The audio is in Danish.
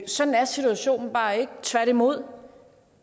sådan er situationen bare ikke tværtimod